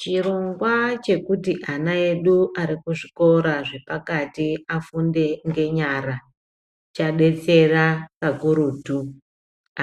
Chirongwa chekuti ana edu ari kuzvikora zvepakati afunde ngenyara chadetsera pakurutu